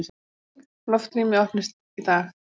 Loftrýmið opnist í dag